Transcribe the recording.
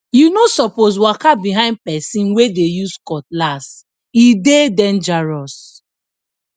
you no suppose waka behind person wey dey use cutlasse dey dangerous